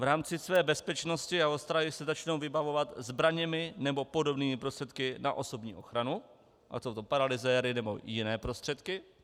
V rámci své bezpečnosti a ostrahy se začnou vybavovat zbraněmi nebo podobnými prostředky na osobní ochranu, ať jsou to paralyzéry, nebo jiné prostředky.